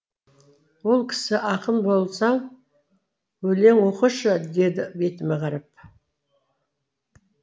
ол кісі ақын болсаң өлең оқышы деді бетіме қарап